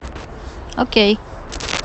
окей